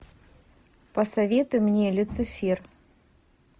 посоветуй мне люцифер